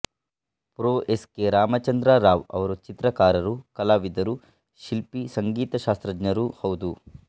pro S K Ramachandra Rao ಅವರು ಚಿತ್ರಕಾರರು ಕಲಾವಿದರು ಶಿಲ್ಪಿ ಸಂಗೀತ ಶಾಸ್ತ್ರಜ್ಞರೂ ಹೌದು